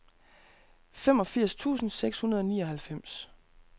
femogfirs tusind seks hundrede og nioghalvfems